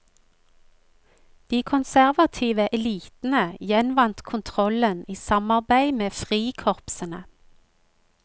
De konservative elitene gjenvant kontrollen i samarbeid med frikorpsene.